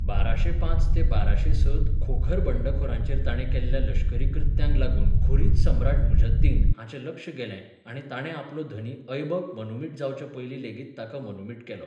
बाराशे पांच ते बाराशे स त खोखर बंडखोरांचेर ताणें केल्ल्या लश्करी कृत्यांक लागून घुरीद सम्राट मुइझ अद दीन हाचें लक्ष गेलें आनी ताणें आपलो धनी ऐबक मनुमिट जावचे पयलीं लेगीत ताका मनुमिट केलो.